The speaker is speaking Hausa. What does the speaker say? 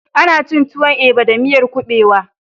Ana cin tuwon eba da miyar ƙuɓewa